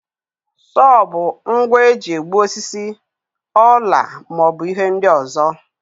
Sowo bụ ngwa eji egbu osisi, ọla ma ọ bụ ihe ndị ọzọ.